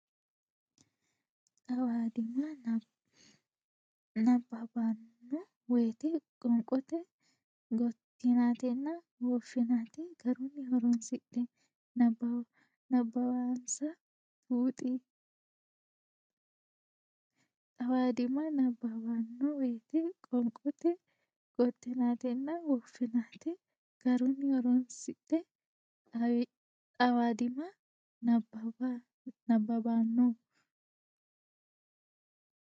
Xawadimma nabbabbanno woyte qoonqote gottinatenna woffinate garunni horonsidhe nabbawansa buuxi Xawadimma nabbabbanno woyte qoonqote gottinatenna woffinate garunni horonsidhe Xawadimma nabbabbanno.